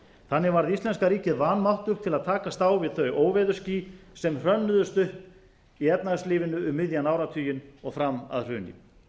þannig varð íslenska ríkið vanmáttugt til að takast á við þau óveðursský sem hrönnuðust upp í efnahagslífinu um miðjan áratuginn og fram að hruni